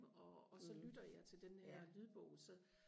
og og så lytter jeg til den her lydbog så